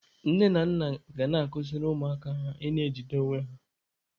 Nne na nna ga na-akụziri ụmụaka ha ị na-ejide onwe ha.